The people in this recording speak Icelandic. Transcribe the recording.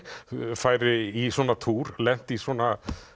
færi í svona túr lenti í svona